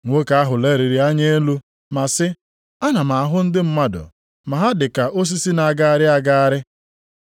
Nwoke ahụ leliri anya elu ma sị, “Ana m ahụ ndị mmadụ ma ha dị ka osisi na-agagharị agagharị.”